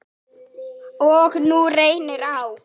Og nú reynir á.